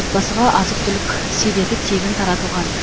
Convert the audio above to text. отбасыға азық түлік себеті тегін таратылған